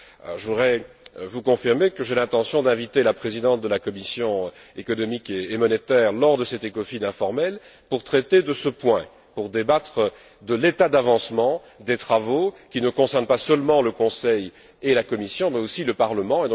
Je voudrais vous confirmer que j'ai l'intention d'inviter la présidente de la commission économique et monétaire lors de cet Ecofin informel pour traiter de ce point, pour débattre de l'état d'avancement des travaux, qui ne concernent pas seulement le Conseil et la Commission mais aussi le Parlement.